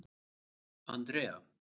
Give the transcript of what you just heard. Andrea